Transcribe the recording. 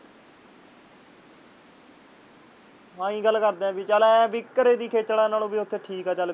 ਆਹੀ ਗੱਲ ਕਰਦੇ ਹਾਂ ਵੀ ਚੱਲ ਐਹ ਕਿ ਘਰੇ ਦੀ ਖੇਚਲਾ ਨਾਲੋਂ ਉੱਥੇ ਠੀਕ ਚੱਲ।